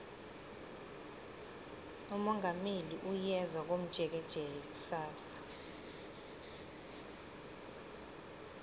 umongameli uyeza komjekejeke kusasa